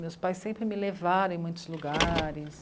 Meus pais sempre me levaram em muitos lugares.